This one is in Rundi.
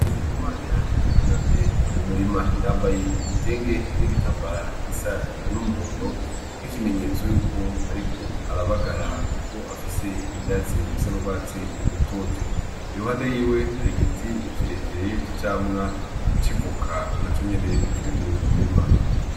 Iku mana yunamye mumurima yambaye igitenge n'igitambara gisa n'umuhondo nk'ikimenyetso yuko, ariko arabagara, kuko afise ivyatsi bisan'urwatsi rutoto iruhande yiwe hari igiti ikirekere c'icamwa civuka na co nyene kiri muri uwumurima.